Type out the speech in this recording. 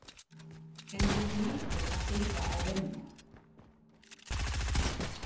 En þú hlýtur að þurfa að vinna